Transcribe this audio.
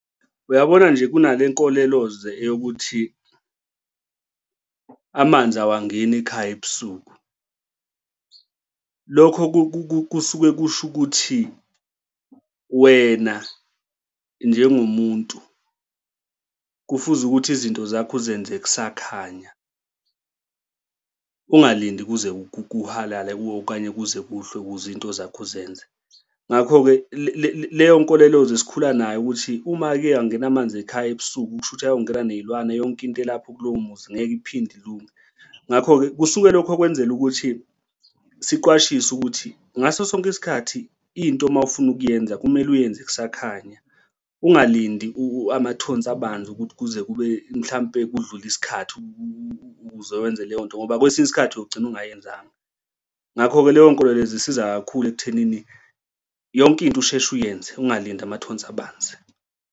Uyabona nje kunale nkoleloze eyokuthi amanzi awangeni ekhaya ebusuku. Lokho kusuke kusho ukuthi wena njengo muntu kufuze ukuthi izinto zakho uzenze kusakhanya, ungalindi kuze kuhalale okanye kuze kuhlwe ukuze iy'nto zakho uzenze. Ngakho-ke leyo nkoleloze sikhula nayo ukuthi uma ake angena amanzi ekhaya ebusuku kusho ukuthi ayongena ney'lwane yonke into elapho kulowo muzi ngeke iphinde ilunge. Ngakho-ke, kusuke lokho kwenzela ukuthi siqwashiswe ukuthi ngaso sonke isikhathi into uma ufuna ukuyenza kumele uyenze kusakhanya, ungalindi amathonsi abanzi ukuthi kube mhlampe kudlule isikhathi ukuze wenze leyo nto ngoba kwesinye isikhathi uyogcina ongayenzanga. Ngakho-ke leyo nkoleloze isiza kakhulu ekuthenini yonke into usheshe uyenze ungalinda amathonsi abanzi.